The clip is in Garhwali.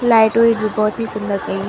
लाइट -उइट भी बहौत ही सुन्दर कईं।